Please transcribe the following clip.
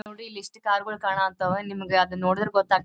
ನೋಡಿ ಇಲ್ಲಿ ಎಸ್ಟ್ ಕಾರ್ ಗಳು ಕಾಣ ಹತ್ತವ ನಿಮ್ಗ ಅದ್ ನೋಡಿದ್ರೆ ಗೊತ್ತಾಗ--